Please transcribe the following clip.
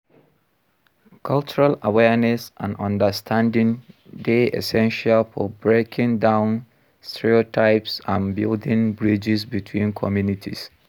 Cultural awareness and understanding dey essential for breaking down stereotypes and building bridges between communities.